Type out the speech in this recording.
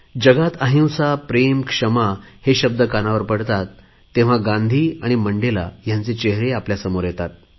जगात अहिंसा प्रेम क्षमा हे शब्द कानावर पडतात तेव्हा गांधी आणि मंडेला हयांचे चेहरे आमच्या समोर येतात